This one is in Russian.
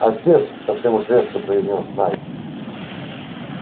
отец совсем уж резко произнёс найд